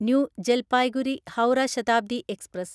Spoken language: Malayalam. new Jalpaiguri Howrah Shatabdi express